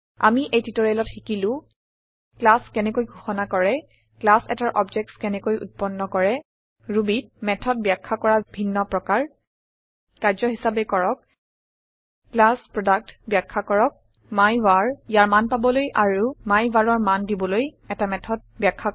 আমি এই টিওটৰিয়েলত শিকিলো ক্লাছ কেনেকৈ ঘোষণা কৰে ক্লাছ এটাৰ অবজেক্টছ কেনেকৈ উত্পন্ন কৰে Rubyত মেথড বাখয়া কৰা ভিন্ন প্ৰকাৰ কাৰ্য্য হিচাবে কৰক ক্লাছ প্ৰডাক্ট বাখয়া কৰক মাইভাৰ ইয়াৰ মান পাবলৈ আৰু myvarৰ মান দিবলৈ এটা মেথড বাখয়া কৰক